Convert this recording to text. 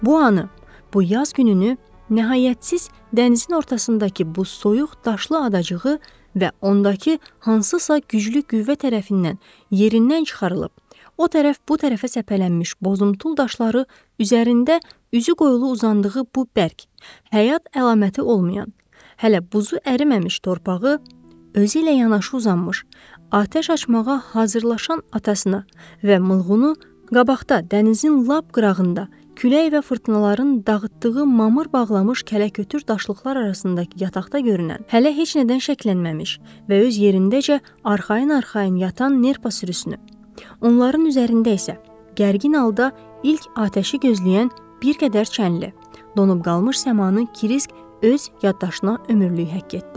Bu anı, bu yaz gününü nəhayətsiz dənizin ortasındakı bu soyuq daşlı adacığı və ondakı hansısa güclü qüvvə tərəfindən yerindən çıxarılıb, o tərəf, bu tərəfə səpələnmiş bozuntul daşları, üzərində üzü qoyulu uzandığı bu bərk, həyat əlaməti olmayan, hələ buzu əriməmiş torpağı, özü ilə yanaşı uzanmış, atəş açmağa hazırlaşan atasına və Mılğunu qabaqda dənizin lap qırağında külək və fırtınaların dağıtdığı mamır bağlamış kələkötür daşlıqlar arasında yataqda görünən, hələ heç nədən şəklənməmiş və öz yerindəcə arxayın-arxayın yatan nerpa sürüsünü, onların üzərində isə gərgin halda ilk atəşi gözləyən bir qədər çənli, donub qalmış səmanı Kirisk öz yaddaşına ömürlük həkk etdi.